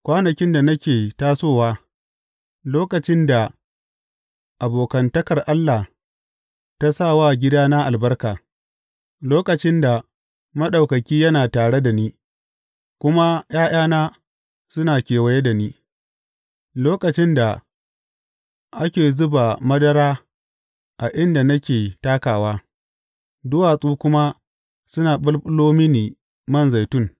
Kwanakin da nake tasowa, lokacin da abokantakar Allah ta sa wa gidana albarka, lokacin da Maɗaukaki yana tare da ni, kuma ’ya’yana suna kewaye da ni, lokacin da ake zuba madara a inda nake takawa, duwatsu kuma suna ɓulɓulo mini man zaitun.